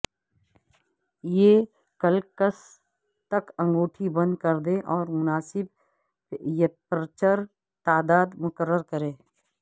یہ کلکس تک انگوٹی بند کر دیں اور مناسب یپرچر تعداد مقرر کریں